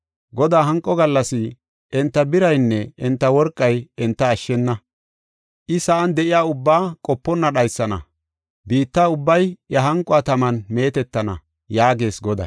Godaa hanqo gallas enta biraynne enta worqay enta ashshena. I sa7an de7iya ubbaa qoponna dhaysana; biitta ubbay iya hanquwa taman meetetana” yaagees Goday.